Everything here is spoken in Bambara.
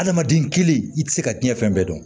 Adamaden kelen i tɛ se ka diɲɛ fɛn bɛɛ dɔn